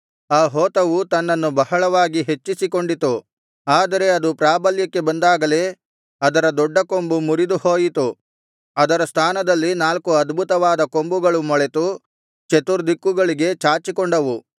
ಆ ಹೋತವು ತನ್ನನ್ನು ಬಹಳವಾಗಿ ಹೆಚ್ಚಿಸಿಕೊಂಡಿತು ಆದರೆ ಅದು ಪ್ರಾಬಲ್ಯಕ್ಕೆ ಬಂದಾಗಲೇ ಅದರ ದೊಡ್ಡ ಕೊಂಬು ಮುರಿದು ಹೋಯಿತು ಅದರ ಸ್ಥಾನದಲ್ಲಿ ನಾಲ್ಕು ಅದ್ಭುತವಾದ ಕೊಂಬುಗಳು ಮೊಳೆತು ಚತುರ್ದಿಕ್ಕುಗಳಿಗೆ ಚಾಚಿಕೊಂಡವು